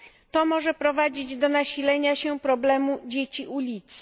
To może prowadzić do nasilenia się problemu dzieci ulicy.